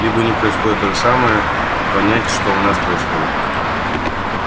либо у них происходит то же самое понять что у нас происходит